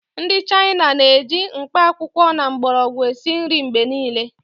Ndị China na-eji mkpakwụkwọ na mgbọrọgwụ esi nri mgbe niile